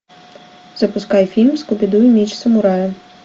запускай фильм скуби ду и меч самурая